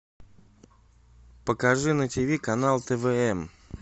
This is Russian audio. покажи на тв канал твм